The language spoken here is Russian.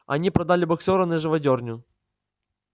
они продали боксёра на живодёрню